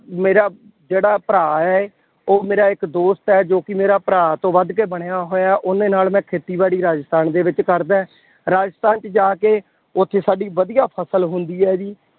ਮੇਰਾ ਜਿਹੜਾ ਭਰਾ ਹੈ, ਉਹ ਮੇਰਾ ਇੱਕ ਦੋਸਤ ਹੈ ਜੋ ਕਿ ਮੇਰਾ ਭਰਾ ਤੋਂ ਵੱਧ ਕੇ ਬਣਿਆ ਹੋਇਆ, ਉਹਦੇ ਨਾਲ ਮੈਂ ਖੇਤੀਬਾੜੀ ਰਾਜਸਥਾਨ ਦੇ ਵਿੱਚ ਕਰਦਾਂ। ਰਾਜਸਥਾਨ ਚ ਜਾ ਕੇ ਉੱਥੇ ਸਾਡੀ ਵਧੀਆ ਫਸਲ ਹੁੰਦੀ ਹੈ ਜੀ।